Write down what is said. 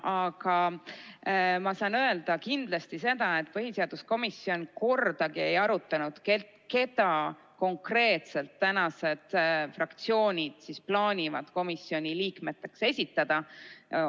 Aga ma saan öelda kindlasti seda, et põhiseaduskomisjon kordagi ei arutanud, keda konkreetselt fraktsioonid plaanivad komisjoni liikmeteks esitada.